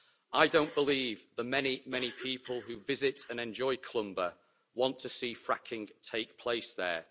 I don't believe the many, many people who visit and enjoy Clumber want to see fracking take place there.